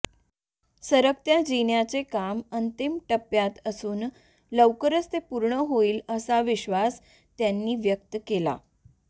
सरकत्या जिन्याचे काम अंतिम टप्प्यात असून लवकरच ते पूर्ण होईल असा विश्वास त्यांनी व्यक्त केला